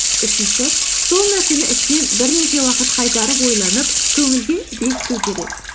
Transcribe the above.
үшінші сол нәрсені ішінен бірнеше уақыт қайтарып ойланып көңілге бекіту керек